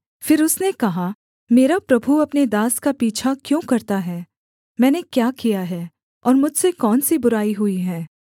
फिर उसने कहा मेरा प्रभु अपने दास का पीछा क्यों करता है मैंने क्या किया है और मुझसे कौन सी बुराई हुई है